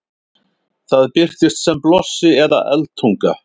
það birtist sem blossi eða eldtunga